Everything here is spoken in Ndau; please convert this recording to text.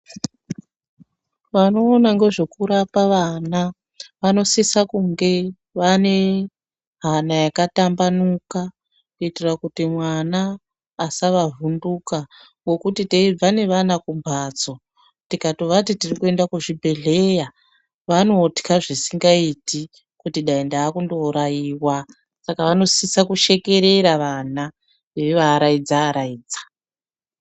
Vanoona ngezvokurapa vana vanosisa kunge vanehana yakatambanuka kuitira kuti mwana vasavavhunduka. Ngokuti teibva nevana kumbatso, tikatovati tirikuenda kuzvibhehleya vanotya zvisingaiti kuti dai ndaakunouraiwa. Saka vanosisa kushekerera vanaa, veivaaraidza-araidza.